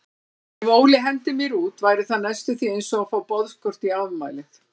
Ef Óli hendir mér út væri það næstum því einsog að fá boðskort í afmælið.